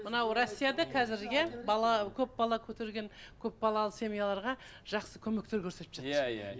мынау россияда қазір иә бала көп бала көтерген көпбалалы семьяларға жақсы көмектер көрсетіп жатыр иә иә иә